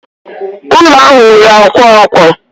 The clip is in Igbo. Ụlọ ahụ nwere akwa akwa